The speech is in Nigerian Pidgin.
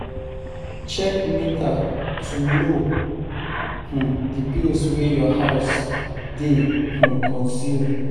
Check meter to know di bills wey your house dey consume